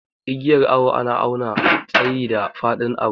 Igiyar awo na awna tsayi da fadin abu.